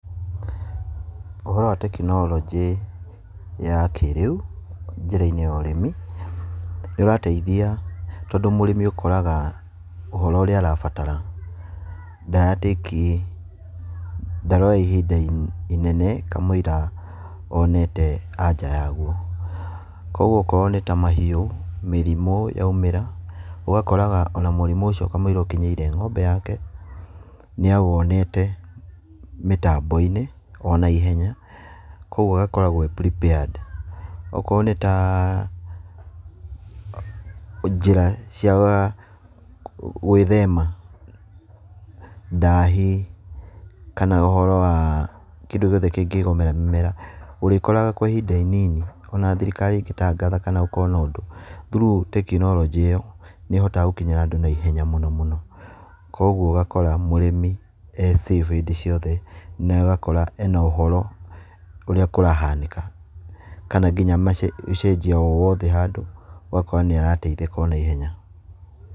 Ũhoro wa tekinioronjĩ ya kĩrĩu njĩra-inĩ ya ũrĩmi, nĩũrateithia tondũ mũrĩmi ũkoraga ũhoro ũrĩa arabatara ndara take , ndaroya ihinda inene kamũira onete anja yaguo, kuoguo akorwo nĩ ta mahiũ, mĩrimũ yaumĩra, ũgakoraga mũrimũ ũcio kamũira ũkinyĩire ng'ombe yake nĩawonete mĩtambo-inĩ o naihenya, kuoguo agakoragwo e prepared. Okorwo nĩ ta njĩra cia gwĩthema ndahi, kana ũhioro wa kũndũ gĩothe kĩngĩgomera mĩmera, ũrĩkoraga kwa ihinda inini ona thirikari ĩngĩtangatha kana gũkorwo na ũndũ, through tekinoronjĩ ĩyo, nĩĩhotaga gũkinyĩra andũ naihenya mũno mũno. Kuoguo ũgakora mũrĩmi e safe hĩndĩ ciothe na ũgakora ena ũhoro ũrĩa kũrahanĩka. Kana nginya ũcenjia o wothe handũ, ũgakora nĩarateithĩka o naihenya.